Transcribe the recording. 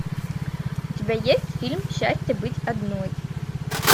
у тебя есть фильм счастье быть одной